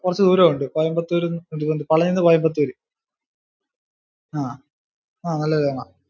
കുറച്ചു ദൂരം ഉണ്ട് കോയമ്പത്തൂർ പളനിയിൽ നിന്ന് കോയമ്ബത്തൂര് ആഹ് ആഹ് നല്ല